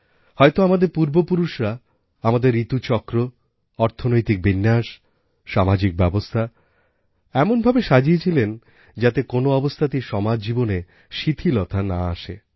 হয়তো আমাদের পূর্বপুরুষরা আমাদের ঋতুচক্র অর্থনৈতিক বিন্যাস সামাজিক ব্যবস্থা এমনভাবে সাজিয়েছিলেন যাতে কোনো অবস্থাতেই সমাজজীবনে শিথিলতা না আসে